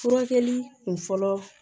Furakɛli kun fɔlɔ